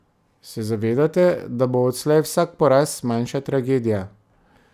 Se zavedate, da bo odslej vsak poraz manjša tragedija?